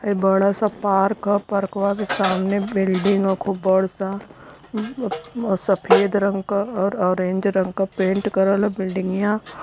हई बड़ा सा पार्क ह पारक्वा के सामने बिल्डिंग ह खूब बड़ सा और सफेद रंग का और ऑरेंज रंग का पेंट कलर बिल्डिगियां --